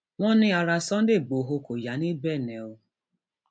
wọn ní ará sunday igbodò kò yá ní benne o